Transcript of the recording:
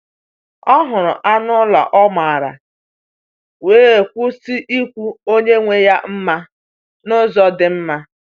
Ọ hụrụ anụ ụlọ ọ maara, wee kwụsị ikwu onye nwe ya mma n’ụzọ dị mma.